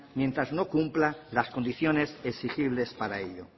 mientras no cumpla las condiciones exigibles para ello